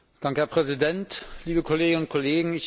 Herr Präsident, liebe Kolleginnen und Kollegen!